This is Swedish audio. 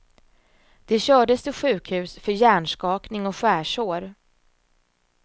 De kördes till sjukhus för hjärnskakning och skärsår.